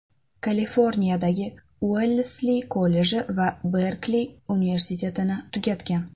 Kaliforniyadagi Uellsli kolleji va Berkli universitetini tugatgan.